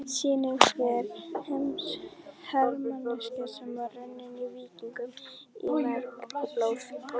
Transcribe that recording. sýnir hve hermennskan var runnin víkingum í merg og blóð.